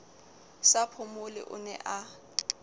sa phomole o ne a